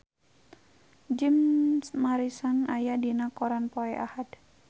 Jim Morrison aya dina koran poe Ahad